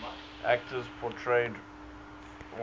actors portrayed posthumously